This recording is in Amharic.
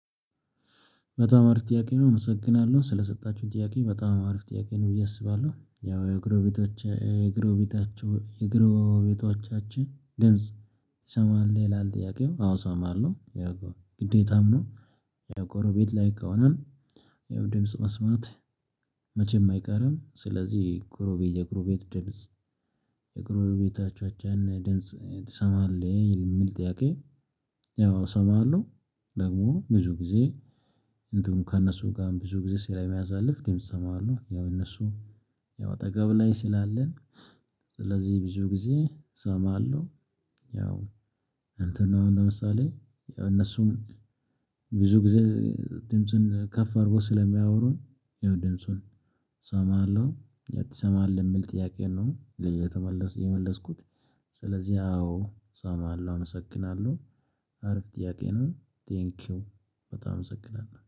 በጣም አሪፍ ጥያቄ ነው እመሰግናለሁ ስለሰጣችሁኝ ጥያቄ በጣም አሪፍ ጥያቄ ነው ብዬ አስባለሁ። ያው የጎረቤታችሁ የጎረቤቶቻችን ድምጽ ይሰማል ይላል ጥያቄው አወ እሰማለሁ ያው ግዴታም ነው። ያው ጎሮቤት ላይ ከሆነ ያው ድምጽ መስማት መቼም አይቀርም። ስለዚህ ጉሮቤ የጎረቤት ድምጽ የጎረቤቶቻቻችን ድምጽ ትሰማለህ የሚል ጥያቄ? ያው እሰማለሁ ደግሞ ብዙ ጊዜ እንደውም ከእነሱ ጋርም ብዙ ጊዜ ስለማሳልፍ ግን እሰማዋለሁ። ያው እነሱ ያው አጠገብ ላይ ስላለን ስለዚህ ብዙ ጊዜ እሰማለሁ። ያው እንተን ነው ለምሳሌ ያው እነሱም ብዙ ጊዜ ድምጽን ከፍ አድርጎ ስለሚያወሩን ይኸው ድምጹን እሰማለሁ። ትሰማለህ የሚል ጥያቄ ነው ለየተመለስኩት የመለስኩት። ስለዚህ አዎ እሰማለሁ አመሰግናለሁ አሪፍ ጥያቄ ነው ቴንኪው በጣም እሰግናለሁ